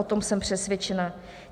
O tom jsem přesvědčena.